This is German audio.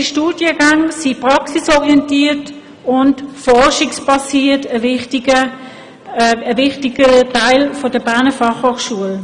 Die Studiengänge sind wie gesagt praxisorientiert und forschungsbasiert, dies ist ein wichtiger Aspekt der Berner Fachhochschule.